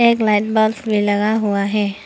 एक लैंडमार्क भी लगा हुआ है।